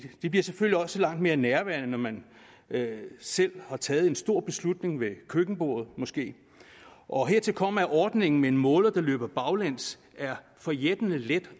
det bliver selvfølgelig også langt mere nærværende når man selv har taget en stor beslutning ved køkkenbordet måske og hertil kommer at ordningen med en måler der løber baglæns er forjættende let